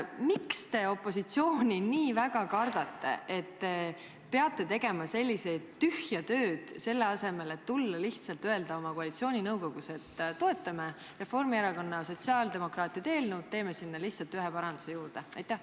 Miks te opositsiooni nii väga kardate, et te peate tegema sellist tühja tööd, selle asemel et tulla ja lihtsalt öelda koalitsiooninõukogus, et toetame Reformierakonna ja sotsiaaldemokraatide eelnõu, teeme sinna lihtsalt ühe paranduse juurde?